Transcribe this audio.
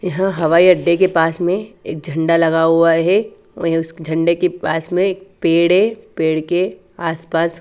यह हवाई अड्डे के पास में एक झंडा लगा हुआ है वही उस झंडे के पास में एक पेड़ है पेड़ के आस पास --